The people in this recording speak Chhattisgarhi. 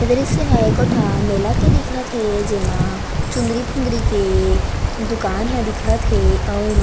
ए दृश्य हा एको ठा मेला के दिखत हे जेमा चुंदरी-फुंदरी के दुकान हा दिखत हे ऐ मा--